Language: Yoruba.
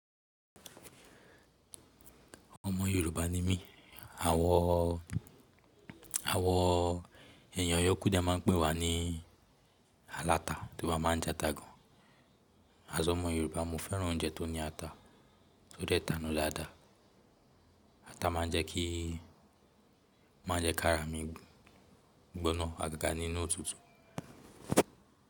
Ọmọ Yorùbá ni mí. Àwọn, àwọn èèyàn ọyọ́ kódà máa ń pè wá ní aláta torí a máa ń jẹ ata gan. As ọmọ Yorùbá, mo fẹ́ran oúnjẹ tó ní ata. O de ta nu la da. Ata máa ń jẹ́ kí, máa ń jẹ́ kí ara mi gbóná àgàgà nínú òtútù.